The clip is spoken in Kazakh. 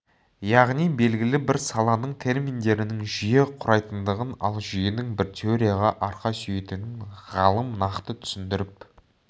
яғни белгілі бір саланың терминдерінің жүйе құрайтындығын ал жүйенің бір теорияға арқа сүйейтінін ғалым нақты түсіндіріп